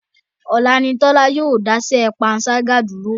Ọ̀la ni Tọ́lá yóò dá iṣẹ́ panṣágà dúró.